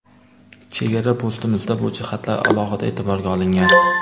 Chegara postimizda bu jihatlar alohida e’tiborga olingan.